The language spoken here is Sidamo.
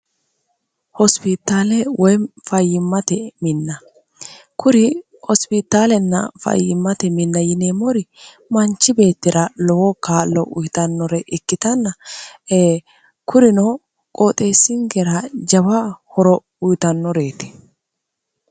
hospitaale woy fayyimmate minna kuri hospitaalenna fayyimmate minna yinee mori manchi beettira lowo kaallo uyitannore ikkitanna e kurino qooxeessingera jawa horo uyitannoreeti